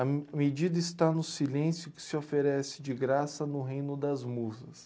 A me medida está no silêncio que se oferece de graça no reino das musas.